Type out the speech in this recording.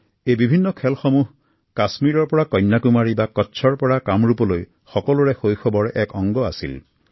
এই বিভিন্ন খেলসমূহ কাশ্মীৰৰ পৰা কন্যাকুমাৰী বা কুচ্চৰ পৰা কামৰূপলৈ সকলো শিশুৰ জীৱনৰ এক অবিচ্ছেদ্য অংগ আছিল